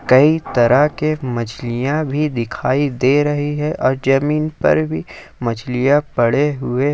कई तरह के मछलियां भी दिखाई दे रही है और जमीन पर भी मछलियां पड़े हुए--